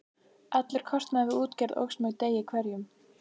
Allur kostnaður við útgerð óx með degi hverjum.